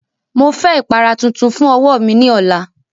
Mo fẹ ipara tuntun fun ọwọ mi ni ọla!